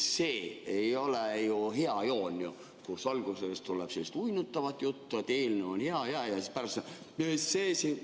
See ei ole ju hea joon, kui alguses tuleb sellist uinutavat juttu, et eelnõu on hea-hea ja siis pärast seda ...